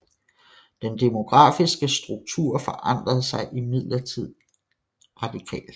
Den demografiske struktur forandrede sig imidlertid radikalt